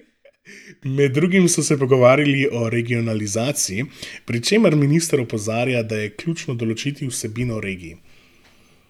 Med drugim so se pogovarjali o regionalizaciji, pri čemer minister opozarja, da je ključno določiti vsebino regij.